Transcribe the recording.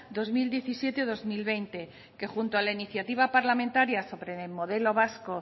dos mil diecisiete dos mil veinte que junto a la iniciativa parlamentaria sobre el modelo vasco